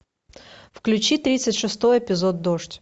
включи тридцать шестой эпизод дождь